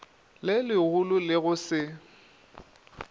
le legolo le go se